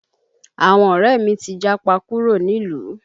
Àwọn ọ̀rẹ́ mi ti japa kúrò nílùú